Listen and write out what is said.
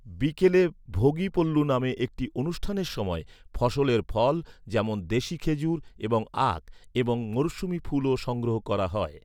বিকেলে ভোগী পল্লু নামে একটি অনুষ্ঠানের সময়, ফসলের ফল, যেমন, দেশী খেজুর এবং আখ এবং মরসুমী ফুলও সংগ্রহ করা হয়।